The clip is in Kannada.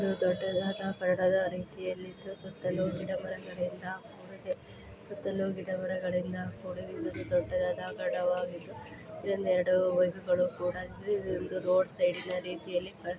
ಇದು ದೊಡ್ಡದಾ ಕಡವಾಗಿದ್ದು ಸುತ್ತಲು ಗಿಡ ಮರಗಳಿಂದ ದೊಡ್ಡದಾ ಕಡವಾಗಿದ್ದು ರೋಡ್ ಸೈಡಿನ ರೀತಿಯಲ್ಲಿ ಕಾಣಿಸುತ್ತಿದೆ.